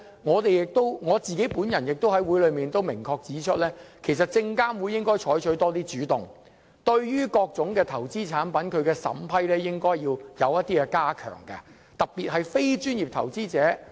我也在會議上明確指出，證監會應該多採取主動，加強對於各種投資產品的審批，特別是要保障非專業投資者。